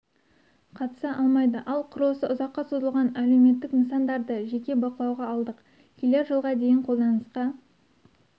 қатыса алмайды ал құрылысы ұзаққа созылған әлеуметтік нысандарды жеке бақылауға алдық келер жылға дейін қолданысқа